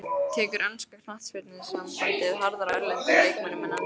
Tekur enska knattspyrnusambandið harðar á erlendum leikmönnum en enskum?